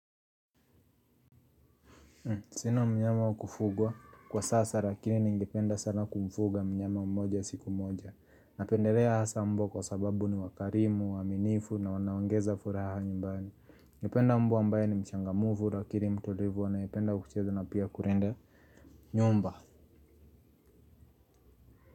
Sina mnyama wa kufugwa. Kwa sasa lakiri ningependa sana kumfuga mnyama mmoja siku moja. Napendelea hasa mbwa kwa sababu ni wakarimu, waaminifu na wanaongeza furaha nyumbani. Ningependa mbwa ambaye ni mchangamfu, lakini, mtulivu, anayependa kucheza na pia kulinda nyumba.